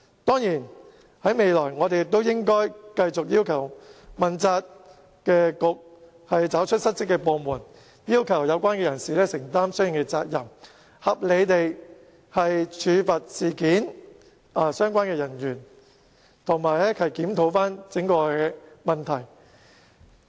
當然，未來我們應該繼續要求當局問責，找出失職部門，要求有關人士承擔相應責任，合理地處罰與事件相關人員，以及檢討整個問題。